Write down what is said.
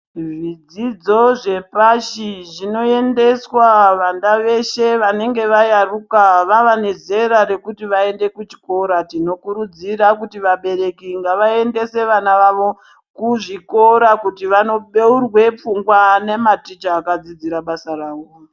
Zvidzidzo zvepashi zvinoendeswa vana veshe vanenge vayaruka vava nezera rekuti vaende kuchikora. Tinokurudzira kuti vabereki ngavaendese vana vavo kuzvikora kuti vanobeurwa pfungwa nematicha akadzidzira basa rawo.